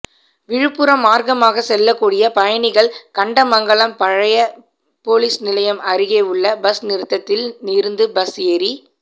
விழுப்புரம் மார்க்கமாக செல்லக்கூடிய பயணிகள் கண்டமங்கலம் பழைய போலீஸ் நிலையம் அருகே உள்ள பஸ் நிறுத்தத்தில் இருந்து பஸ் ஏறிச்